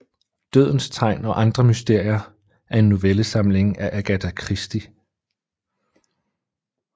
Dødens tegn og andre mysterier er en novellesamling af Agatha Christie